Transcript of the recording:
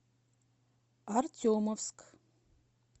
артемовск